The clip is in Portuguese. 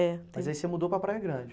É. Mas aí você mudou para Praia Grande.